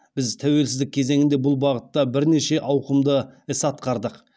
біз тәуелсіздік кезеңінде бұл бағытта бірнеше ауқымды іс атқардық